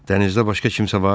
Dənizdə başqa kimsə var?